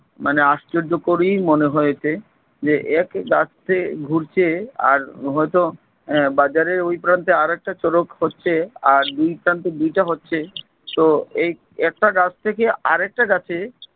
মানে আশ্চর্যকরই মনে হয়েছে যে এক গাছতে ঘুরছে আর হয়তো আহ বাজারের ঐ প্রান্তে আরেকটা চড়ক হচ্ছে আর দুই প্রান্তে দুইটা হচ্ছে তো এই একটা গাছ থেকে আরেকটা গাছে